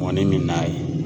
Mɔni min n'a ye.